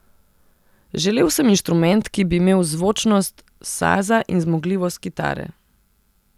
Želel sem inštrument, ki bi imel zvočnost saza in zmogljivost kitare.